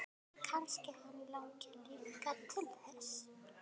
Kannski hann langi líka til þess!